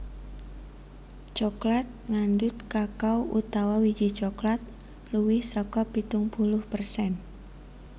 Coklat ngandhut kakao utawa wiji coklat luwih saka pitung puluh persen